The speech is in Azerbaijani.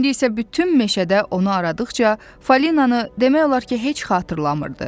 İndi isə bütün meşədə onu aradıqca falinanı demək olar ki, heç xatırlamırdı.